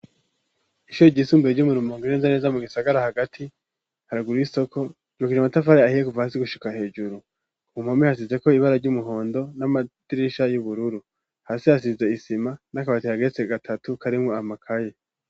Ishuye ry'isumbuye ryo mu rumonge neza na neza mu gisagara hagati haruguru y'isoko ryubakishijwe amatafari ahiye kuva hasi gushika hejuru ku mpome hasizeko ibara ry'umuhondo n'amadirisha y'ubururu hasi hasize isima n'akabati kageretse gatatu karimwo amakaye.